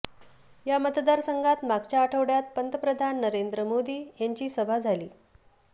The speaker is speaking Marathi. या मतदारसंघात मागच्या आठवड्यात पंतप्रधान नरेंद्र मोदी यांची सभा झाली